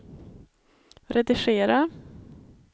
redigera